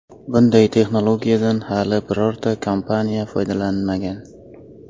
Bunday texnologiyadan hali birorta kompaniya foydalanmagan.